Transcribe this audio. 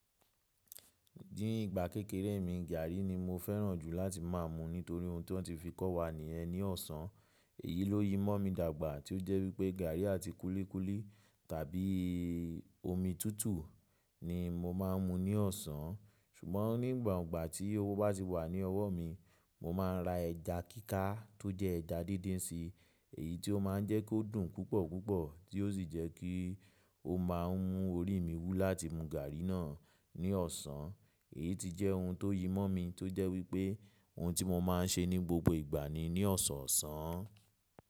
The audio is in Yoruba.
Dín ìgbà kékeré mi, gàrrí ni mo fẹ́ràn jù láti má a mu nítorí ohun tí wọ́n ti fi kọ́ wa nìyẹn ní ọ̀sán. Èyí ló yi mọ́ mi dàgbà tí ó jẹ́ wípé gàrí àti kúlíkúlí tàbí omi tútù ni mo máa n mu ní ọ̀sán. Ṣùgbọ́n nígbà ọ̀gbà tí owó bá ti wà ní ọwọ́ mi, mo máa n ra ẹja kíká tó jẹ́ ẹja díndín si. Èyí tí ó máa ń jẹ́ kó dùn púpọ̀púpọ̀ tí ó sì jẹ́ kí ó máa ń mú orí mi wú láti mu gàrí náà ní ọ̀sán. Èyí ti jẹ́ ohun tó yi mọ́ mi tó jẹ́ wípé ohun tí mo máa ń ṣe ní gbogbo ìgbà ni ní ọ̀sọ̀ọ̀sán.